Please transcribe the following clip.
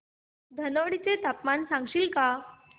धनोडी चे तापमान सांगशील का